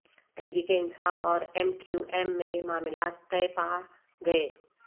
تحریک انصاف اور M Q M میں معاملات طے پا گئے